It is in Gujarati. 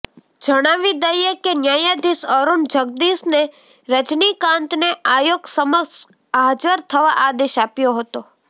જણાવી દઈએ કે ન્યાયાધીશ અરૂણ જગદીશને રજનીકાંતને આયોગ સમક્ષ હાજર થવા આદેશ આપ્યો હતો